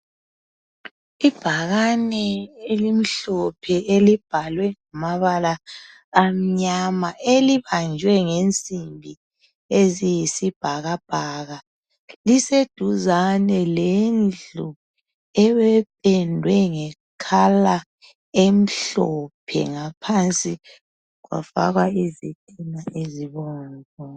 Ibhakane elimhlophe elibhalwe ngamabala amnyama elibanjwe ngensimbi eziyisibhakabhaka liseduzane lendlu ependwe ngombala omhlophe ngaphansi kwafakwa izitina ezibomvu.